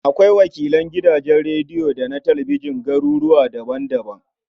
Akwai wakilan gidajen rediyo da talabijin a garuruwa daban-daban.